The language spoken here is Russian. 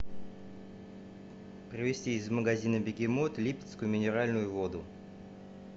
привести из магазина бегемот липецкую минеральную воду